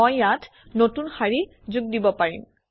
মই ইয়াত নতুন শাৰী যোগ দিব পাৰিম